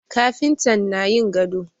Kafintan na yin gado